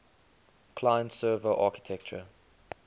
client server architecture